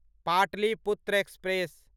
Pataliputra express